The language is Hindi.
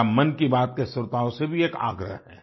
मेरा मन की बात के श्रोताओं से भी एक आग्रह है